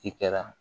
Ci kɛra